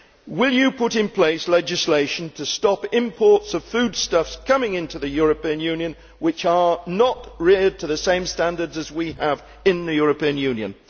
Will you put in place legislation to stop imports of foodstuffs coming into the European Union which are not reared to the same standards as we have in the European Union?